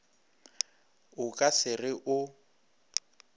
o ka se re o